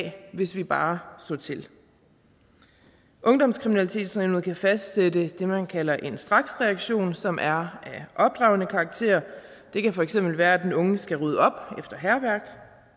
hvis vi bare så til ungdomskriminalitetsnævnet kan fastsætte det man kalder en straksreaktion som er af opdragende karakter det kan for eksempel være at den unge skal rydde op efter hærværk